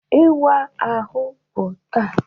Ịwa ahụ bụ taa